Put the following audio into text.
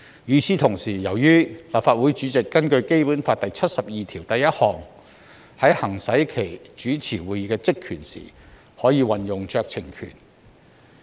與此同時，根據《基本法》第七十二條第一項，立法會主席在行使其主持會議的職權時，可以運用酌情權。